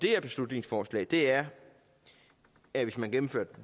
her beslutningsforslag er at hvis man gennemfører